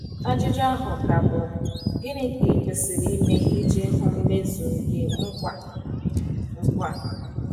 Ajụjụ ahụ ka bụ, Gịnị ka i kwesịrị ime iji hụ mmezu nke nkwa a nkwa a?